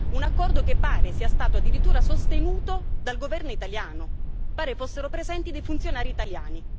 Un accordo che pare sia stato addirittura sostenuto dal governo italiano pare fossero presenti dei funzionari italiani.